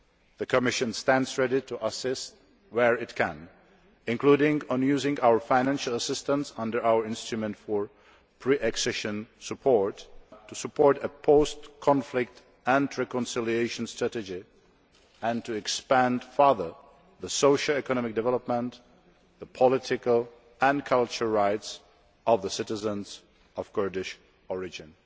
The Commission stands ready to assist where it can, including in using our financial assistance under our instrument for pre accession support to support a post conflict and reconciliation strategy and to expand further the socio economic development and the political and cultural rights of citizens of Kurdish origin.